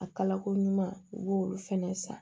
A kalako ɲuman u b'olu fɛnɛ san